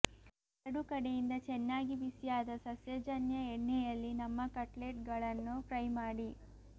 ಎರಡು ಕಡೆಯಿಂದ ಚೆನ್ನಾಗಿ ಬಿಸಿಯಾದ ಸಸ್ಯಜನ್ಯ ಎಣ್ಣೆಯಲ್ಲಿ ನಮ್ಮ ಕಟ್ಲೆಟ್ಗಳನ್ನು ಫ್ರೈ ಮಾಡಿ